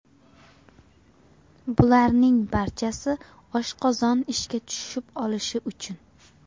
Bularning barchasi oshqozon ishga tushib olishi uchun!